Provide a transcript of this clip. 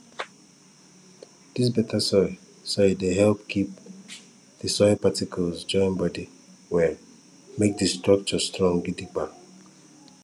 dis better soil soil dey help keep di soil particles join body well make di structure strong gidigba